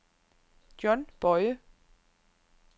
John Boye